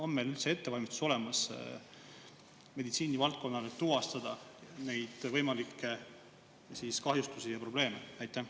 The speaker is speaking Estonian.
On meil üldse ettevalmistus olemas meditsiinivaldkonnas tuvastada neid võimalikke kahjustusi ja probleeme?